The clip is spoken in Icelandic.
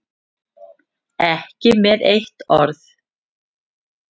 Ekki með eitt orð.